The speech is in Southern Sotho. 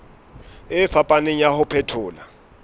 e fapaneng ya ho phethola